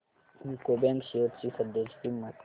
UCO bank shares ची सध्याची किंमत